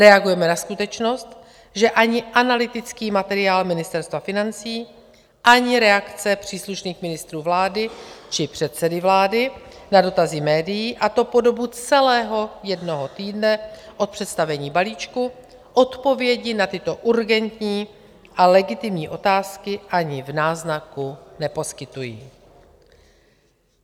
Reagujeme na skutečnost, že ani analytický materiál Ministerstva financí, ani reakce příslušných ministrů vlády či předsedy vlády na dotazy médií, a to po dobu celého jednoho týdne od představení balíčku, odpovědi na tyto urgentní a legitimní otázky ani v náznaku neposkytují."